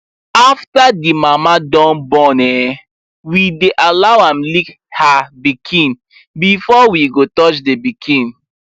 after the mama dun born um we dy allow am lick her pikin before we go touch the pikin